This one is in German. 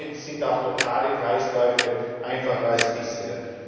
Damit sind auch lokale Kreisläufe einfacher als bisher.